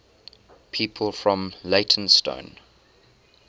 people from leytonstone